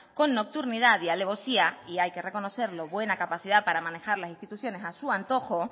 con nocturnidad y alevosía y hay que reconocerlo buena capacidad para manejar las instituciones a su antojo